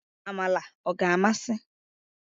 Amala ọ ga-amasị?